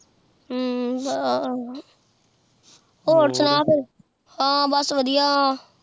ਹਮ੍ਮ੍ਮ੍ ਆਹ ਹੋਰ ਸੁਨਾ ਕੁਛ ਹਨ ਬਸ ਵਾਦਿਯ